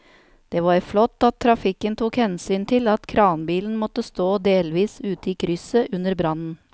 Det var flott at trafikken tok hensyn til at kranbilen måtte stå delvis ute i krysset under brannen.